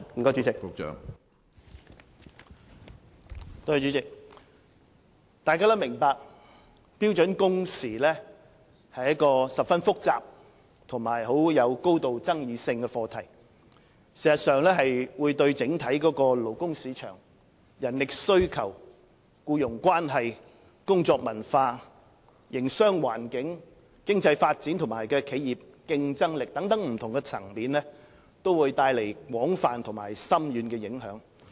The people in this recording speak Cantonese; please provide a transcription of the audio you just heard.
大家也明白標準工時是一個十分複雜和有高度爭議性的課題，事實上會對整體勞工市場、人力需求、僱傭關係、工作文化、營商環境，經濟發展和企業競爭力等不同層面，帶來廣泛和深遠的影響。